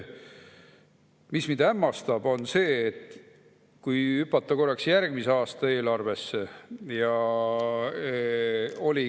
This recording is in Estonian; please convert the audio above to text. Mis mind hämmastab, on see, et kui hüpata korraks järgmise aasta eelarve juurde …